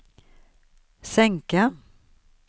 sänka